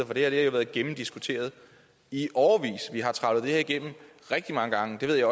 for det har været gennemdiskuteret i årevis vi har trawlet det her igennem rigtig mange gange det ved jeg